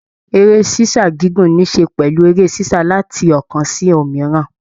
Eré s'isa gígùn nisè pẹlú eré sisa láti ọkan sì òmíràn.